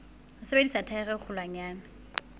ho sebedisa thaere e kgolwanyane